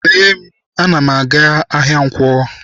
Lee m, ana m aga-ahịa nkwo.